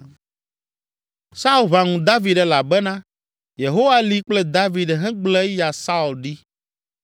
Saul ʋã ŋu David elabena Yehowa li kple David hegblẽ eya Saul ɖi.